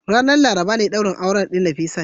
Ranar Laraba ne daurin auren Nafisat.